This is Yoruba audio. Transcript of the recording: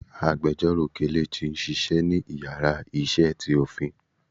àgbẹjọró Kelechi n Ṣiṣẹ ni ìyára iṣẹ tí Ofin.